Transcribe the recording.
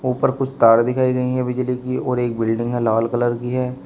ऊपर कुछ तार दिखाई गई है बिजली की और एक बिल्डिंग है लाल कलर की है।